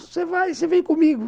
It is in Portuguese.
Você vai, você vem comigo.